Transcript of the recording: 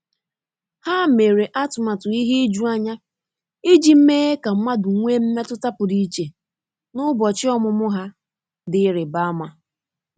Há mèrè átụ́màtụ́ ihe ijuanya iji mèé kà mmadụ nwee mmetụta pụ́rụ́ iche n’ụ́bọ̀chị̀ ọ́mụ́mụ́ ha dị̀ ịrịba ama.